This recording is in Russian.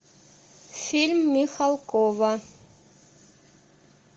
фильм михалкова